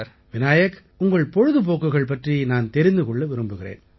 விநாயக் உங்கள் பொழுதுபோக்குகள் பற்றி நான் தெரிந்து கொள்ள விரும்புகிறேன்